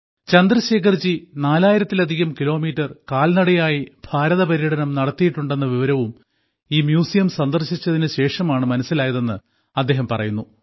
ചന്ദ്രശേഖർജി നാലായിരത്തിലധികം കിലോമീറ്റർ കാൽനടയായി ഭാരതപര്യടനം നടത്തിയിട്ടുണ്ടെന്ന വിവരവും ഈ മ്യൂസിയം സന്ദർശിച്ചതിനു ശേഷമാണ് മനസ്സിലായതെന്ന് അദ്ദേഹം പറയുന്നു